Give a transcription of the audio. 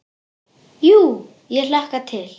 Jú ég hlakka til.